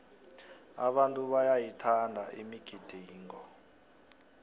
abantu bayayithanda imigidingo